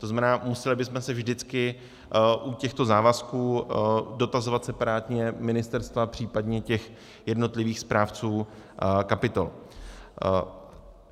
To znamená, museli bychom se vždycky u těchto závazků dotazovat separátně ministerstva, případně těch jednotlivých správců kapitol.